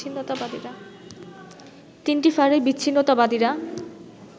তিনটি ফাঁড়ির বিচ্ছিন্নতাবাদীরা